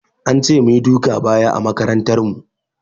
An ce mu yi duka baya a makarantar mu.